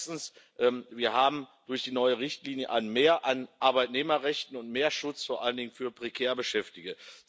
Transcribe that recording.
Erstens Wir haben durch die neue Richtlinie ein Mehr an Arbeitnehmerrechten und mehr Schutz vor allen Dingen für prekär Beschäftigte.